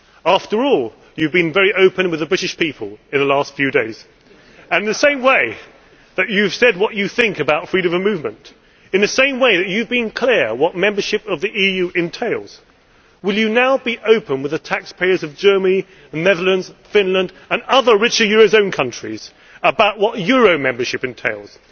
After all, you have been very open with the British people in the last few days, and in the same way that you have said what you think about freedom of movement, in the same way that you have been clear what membership of the EU entails, will you now be open with the taxpayers of Germany, the Netherlands, Finland and other richer eurozone countries about what euro membership entails?